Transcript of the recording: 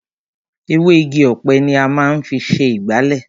Ewé Igi ọ̀pẹ ni a máa ń fi ṣe ìgbálẹ̀.